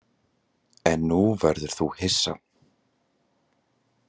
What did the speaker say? En nú verður þú hissa!